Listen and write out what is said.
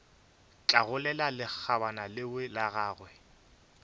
hlagolela lekgabana leo la gagwe